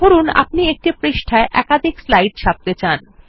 ধরুন আপনি একটি পৃষ্ঠায় একাধিক স্লাইড ছাপতে চান